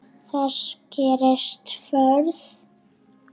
Ef þess gerist þörf